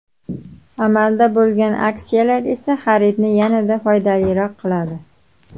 Amalda bo‘lgan aksiyalar esa xaridni yanada foydaliroq qiladi.